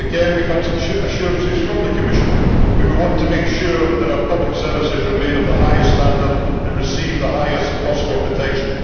again we have had some assurances from the Commission, but we want to make sure that our public services remain of the highest standard and receive the highest possible protection.